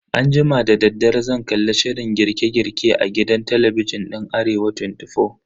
Anjima dadaddare zan kalli shirin girke girke a gidan talabijin din Arewa 24.